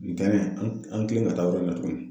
Ntɛnɛn an y'an kilen ka taa yɔrɔ in na tuguni.